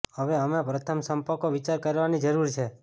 હવે અમે પ્રથમ સંપર્કો વિચાર કરવાની જરૂર છે